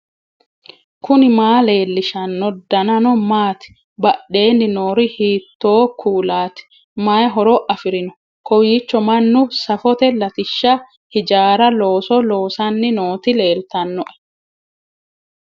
knuni maa leellishanno ? danano maati ? badheenni noori hiitto kuulaati ? mayi horo afirino ? kowiicho mannu safote latishsha hijaaru looso loosanni nooti leeltannoe